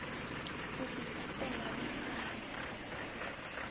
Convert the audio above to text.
u ḓifha ṱela vhone vhaṋe